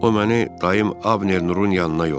O məni dayım Abner Nurun yanına yollayıb.